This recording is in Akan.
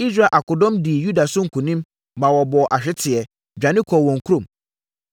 Israel akodɔm dii Yuda so nkonim, maa wɔbɔɔ ahweteɛ, dwane kɔɔ wɔn kurom.